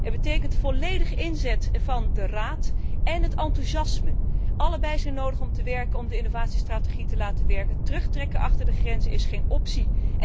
Het betekent de volledige inzet van de Raad en enthousiasme. Allebei zijn nodig om de innovatiestrategie te laten werken. Terugtrekken achter de grenzen is geen optie.